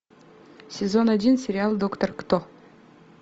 сезон один сериал доктор кто